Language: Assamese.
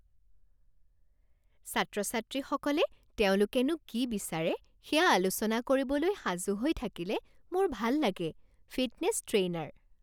ছাত্ৰ ছাত্ৰীসকলে তেওঁলোকেনো কি বিচাৰে সেয়া আলোচনা কৰিবলৈ সাজু হৈ থাকিলে মোৰ ভাল লাগে ফিটনেছ ট্ৰেইনাৰ